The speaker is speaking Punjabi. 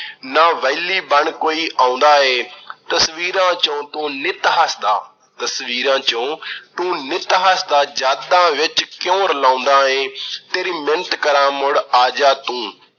ਨਾ ਵੈਲੀ ਬਣ ਕੋਈ ਆਉਂਦਾ ਏ, ਤਸਵੀਰਾਂ ਚੋਂ ਤੂੰ ਨਿੱਤ ਹੱਸਦਾ, ਤਸਵੀਰਾਂ ਚੋਂ ਤੂੰ ਨਿੱਤ ਹੱਸਦਾ, ਯਾਦਾਂ ਵਿੱਚ ਕਿਉਂ ਰੁਲਾਉਂਦਾ ਏਂ, ਤੇਰੀ ਮਿੰਨਤ ਕਰਾਂ ਮੁੜ ਆ ਜਾ ਤੂੰ